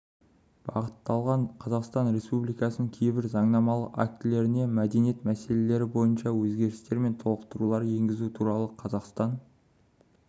бағытталған қазақстан республикасының кейбір заңнамалық актілеріне мәдениет мәселелері бойынша өзгерістер мен толықтырулар енгізу туралы қазақстан